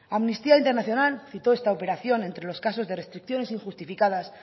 amnistía internacional citó esta operación entre los casos de restricciones injustificadas